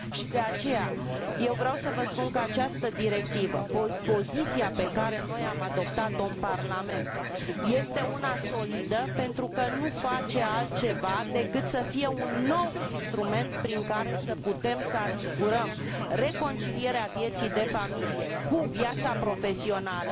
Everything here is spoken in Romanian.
De aceea, eu vreau să vă spun că această directivă, poziția pe care noi am adoptat o în Parlament, este una solidă pentru că nu face altceva decât să fie un nou instrument prin care să putem să asigurăm reconcilierea vieții de familie cu viața profesională